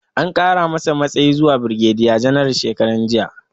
An kara mashi matsayi zuwa birgediya janaral shekaranjiya